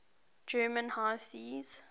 german high seas